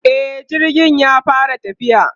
e jirgin ya fara tafiya